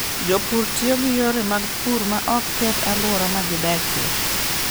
Jopur tiyo gi yore mag pur ma ok keth alwora ma gidakie.